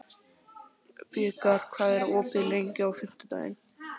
Þeir fara út til að gera að aflanum.